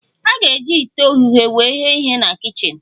A ga-eji ite oghughe wee ghe ihe na kichin